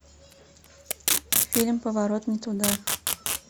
фильм поворот не туда